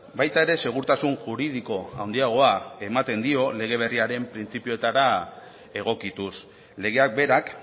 baita ere segurtasun juridiko handiagoa ematen dio lege berriaren printzipioetara egokituz legeak berak